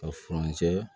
Ka furancɛ